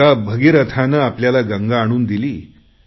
एका भगीरथाने आपल्याला गंगा आणून दिली